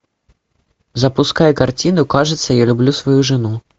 запускай картину кажется я люблю свою жену